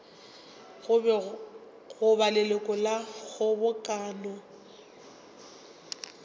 go ba leloko la kgobokano